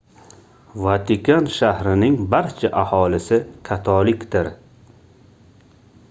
vatikan shahrining barcha aholisi katolikdir